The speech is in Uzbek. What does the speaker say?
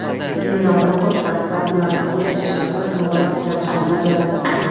General Motors dastlab ularni o‘z ishchilarida sinovdan o‘tkazishni mo‘ljallamoqda.